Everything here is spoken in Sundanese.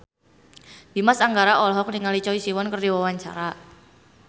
Dimas Anggara olohok ningali Choi Siwon keur diwawancara